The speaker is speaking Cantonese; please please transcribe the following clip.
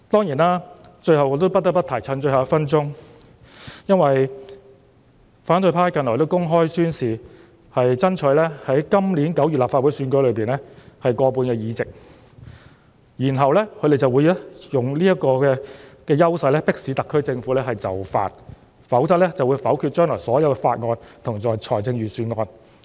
藉着最後1分鐘的發言時間，我不得不提的是，反對派近來公開宣示會爭取在今年9月的立法會選舉中取得過半議席，然後會利用這個優勢迫使特區政府就範，否則便會否決將來所有法案和預算案。